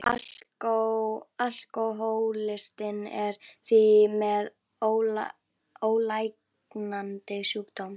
Alkohólistinn er því með ólæknandi sjúkdóm.